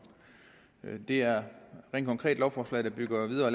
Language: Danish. det er rent konkret et lovforslag der bygger videre